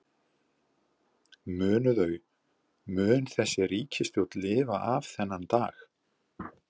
Munu þau, mun þessi ríkisstjórn lifa af þennan dag?